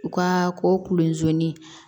U ka ko kulonni